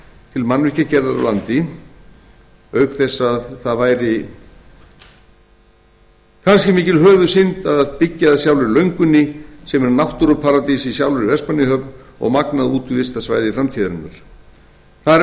til mannvirkjagerðar á landi auk þess að mikil höfuðsynd yrði að byggja að sjálfri löngunni sem er náttúruparadís í sjálfri vestmannaeyjahöfn og magnað útivistarsvæði framtíðarinnar þar er